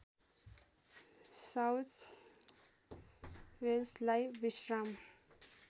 south वेल्सलाई विश्राम